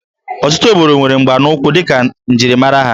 Ọtụtụ obodo nwere mgbanaụkwụ dịka njirimara ha